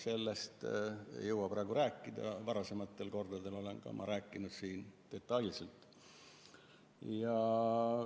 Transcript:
Sellest ei jõua praegu rääkida, varasematel kordadel olen ma sellest rääkinud detailselt.